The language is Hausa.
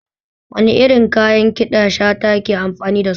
Wani irin kayan ƙiɗa Shata ke amfani dasu?